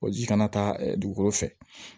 O ji kana taa dugukolo fɛ